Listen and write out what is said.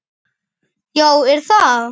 Breki: Já, er það?